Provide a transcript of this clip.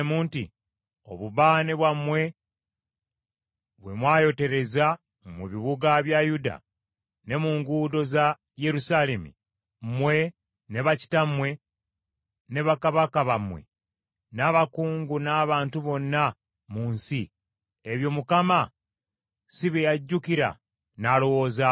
“Obubaane bwammwe bwe mwayotereza mu bibuga bya Yuda ne mu nguudo za Yerusaalemi, mmwe ne bakitammwe, ne bakabaka bammwe, n’abakungu n’abantu bonna mu nsi, ebyo Mukama si bye yajjukira n’alowoozaako?